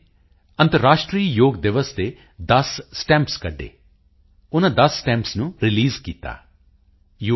ਨੇ ਅੰਤਰਰਾਸ਼ਟਰੀ ਯੋਗ ਦਿਵਸ ਦੇ 10 ਸਟੈਂਪਸ ਕੱਢੇ ਉਨ੍ਹਾਂ 10 ਸਟੈਂਪਸ ਨੂੰ ਰਿਲੀਜ਼ ਕੀਤਾ ਯੂ